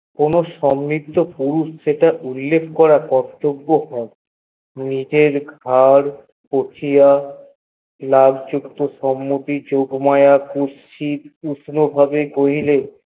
কোনো সমৃদ্ধ পুরুষ যেটা করা উল্লেখ নয়ে নিজের খাবার পচিয়া সেখানে যোগমায়া কুত্সিত উগ্র ভাবে কহিলেন